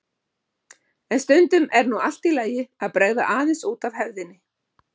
En stundum er nú allt í lagi að bregða aðeins út af hefðinni.